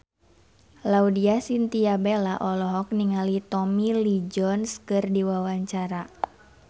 Laudya Chintya Bella olohok ningali Tommy Lee Jones keur diwawancara